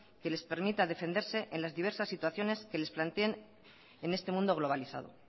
que les permita defenderse en las diversas situaciones que les planteen en este mundo globalizado